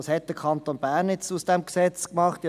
Was hat der Kanton Bern nun aus diesem Gesetz gemacht?